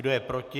Kdo je proti?